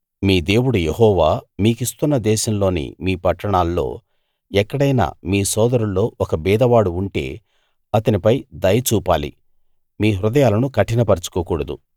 మీ దేవుడు యెహోవా మీకిస్తున్న దేశంలోని మీ పట్టణాల్లో ఎక్కడైనా మీ సోదరుల్లో ఒక బీదవాడు ఉంటే అతనిపై దయ చూపాలి మీ హృదయాలను కఠినపరచుకోకూడదు